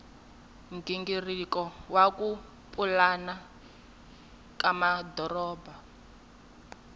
nghingiriko wa ku pulana ka